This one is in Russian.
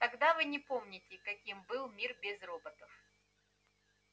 тогда вы не помните каким был мир без роботов